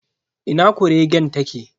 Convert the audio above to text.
Ina kuregen ta ke?